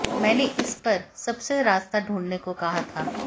मैने इस पर सबसे रास्ता ढूंढने को कहा था